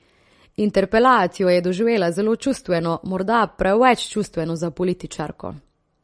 Interpelacijo je doživljala zelo čustveno, morda preveč čustveno za političarko.